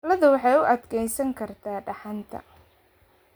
Ladu waxay u adkeysan kartaa dhaxanta.